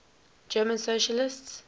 german socialists